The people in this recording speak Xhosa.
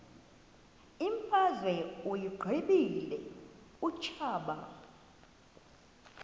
imfazwe uyiqibile utshaba